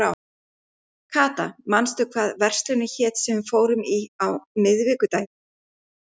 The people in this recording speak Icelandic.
Kata, manstu hvað verslunin hét sem við fórum í á miðvikudaginn?